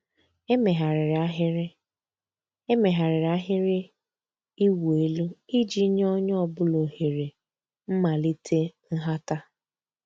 Èméghàrị́rị́ àhị́rị́ Èméghàrị́rị́ àhị́rị́ ị̀wụ́ èlú ìjì nyé ónyé ọ̀ bụ́là òhèré m̀màlíté ǹhàtá.